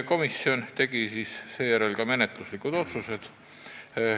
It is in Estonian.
Komisjon tegi ka menetluslikud otsused.